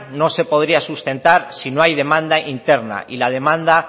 no se podría sustentar si no hay demanda interna y las demandas